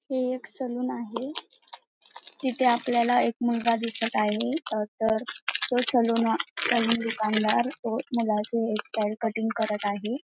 हे एक सलून आहे तिथे आपल्याला एक मुलगा दिसत आहे तर तो सालून सलून दुकानदार तो मुलाचे हेयर स्टाइल कटिंग करत आहे.